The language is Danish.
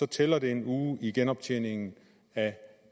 tæller det en uge i genoptjening af